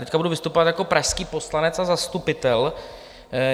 Teď budu vystupovat jako pražský poslanec a zastupitel.